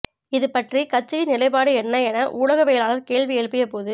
இது பற்றி கட்சியின் நிலைப்பாடு என்ன என ஊடகவியலாளர் கேள்வி எழுப்பிய போது